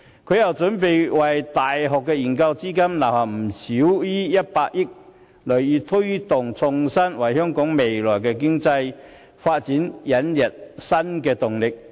她又為大學研究資金預留不少於100億元，銳意推動創新，為香港未來的經濟發展引入新動力。